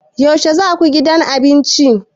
Yaushe za ku gidan abinci?